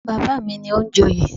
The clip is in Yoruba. Bàbá mi ni ó ń jẹ oyè